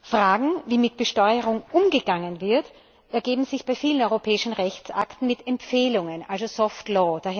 Fragen, wie mit Besteuerung umgegangen wird, ergeben sich bei vielen europäischen Rechtsakten mit Empfehlungen, also Soft Law